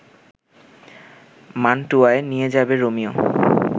মান্টুয়ায় নিয়ে যাবে রোমিও